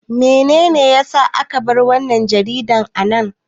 Menene ya sa aka bar wannan jaridar a nan?